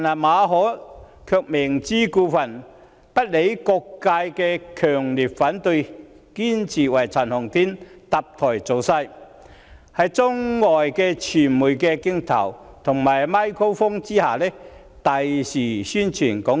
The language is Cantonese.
馬凱卻明知故犯，不理會各界強烈反對，堅持為陳浩天搭台造勢，讓他在中外傳媒的鏡頭和"咪高峰"下，大肆宣傳"港獨"。